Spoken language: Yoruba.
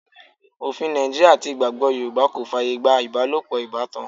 Òfin Nàìjíríà àti ìgbàgbọ́ Yorùbá kò fàyè gba ibalopo ìbátan.